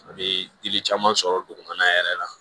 A bɛ dili caman sɔrɔ dugumana yɛrɛ la